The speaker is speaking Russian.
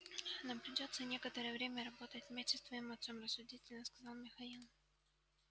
нам придётся некоторое время работать вместе с твоим отцом рассудительно сказал михаил